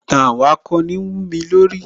Ìtàn àwọn akọni wúmi lórí